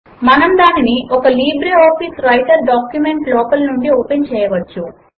మనము దానిని ఒక లిబ్రిఆఫిస్ వ్రైటర్ డాక్యుమెంట్ లోపలి నుంచి ఓపెన్ చేయవచ్చు